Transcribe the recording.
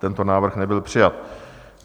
Tento návrh nebyl přijat.